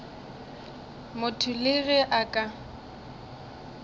motho le ge a ka